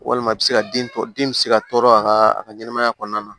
Walima i bɛ se ka den tɔ den bɛ se ka tɔɔrɔ a ka a ka ɲɛnɛmaya kɔnɔna na